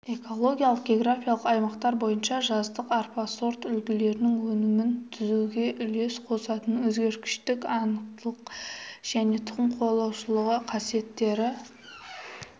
экологиялық географиялық аймақтар бойынша жаздық арпа сорт үлгілерінің өнімін түзуге үлес қосатын өзгергіштік анықтылық және тұқым қуалағыштық қасиеттері